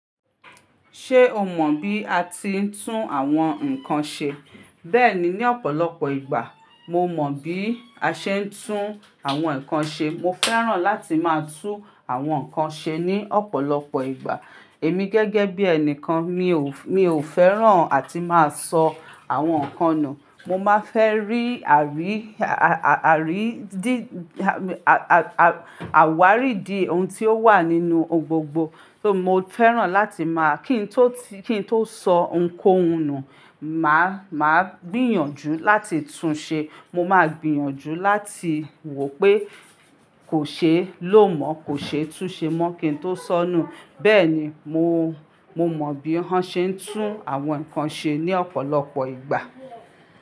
Ṣé o mọ bí a ti ń tún àwọn nǹkan ṣe? Bẹ́ẹ̀ni, ní ọ̀pọ̀lọpọ̀ ìgbà mo mọ bí a ṣe ń tún àwọn nǹkan ṣe. Mo fẹ́ràn láti máa tún àwọn nǹkan ṣe ní ọ̀pọ̀lọpọ̀ ìgbà. Èmi gẹ́gẹ́ bí ẹnìkan mi ò, mi ò fẹ́ràn àti máa sọ àwọn nǹkan nù. Mo máa fẹ́ rí àrí, à-à-àrí dí, à-à-àwárí di ohun tí ó wà nínú ohun gbogbo. Só mo fẹ́ràn láti máa kí n tó ti, kí n tó sọ ohunkóhun nù, mà á, mà á gbìyànjú láti tun ṣe, mo máa gbìyànjú láti wò pé kò ṣe é lò mọ́, kò ṣe é tún ṣe mọ́ kí n tó soọ́ nù. Bẹ́ẹ̀ ni, mo, mo mọ bí wọ́n ṣe ń tún àwọn nǹkan ṣe ní ọ̀pọ̀lọpọ̀ ìgbà.